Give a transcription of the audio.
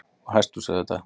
Og hesthús auðvitað.